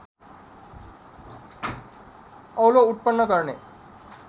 औलो उत्पन्न गर्ने